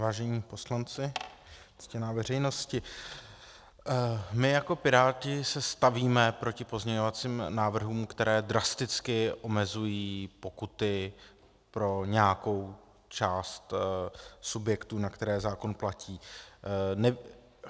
Vážení poslanci, ctěná veřejnosti, my jako Piráti se stavíme proti pozměňovacím návrhům, které drasticky omezují pokuty pro nějakou část subjektů, na které zákon platí.